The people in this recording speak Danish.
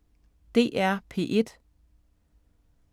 DR P1